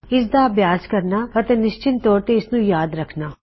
ਇਸਦਾ ਅਭਿਆਸ ਕਰਨਾ ਅਤੇ ਨਿਸ਼ਚਿਤ ਤੋਰ ਤੇ ਇਸਨੂੰ ਯਾਦ ਰਖਣਾ